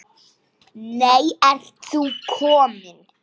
Nei, ert þú kominn?